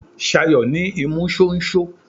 Ṣayọ̀ ní imú ṣóńṣó.